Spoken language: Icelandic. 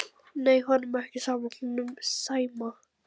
Nei, honum er ekki sama honum Sæma.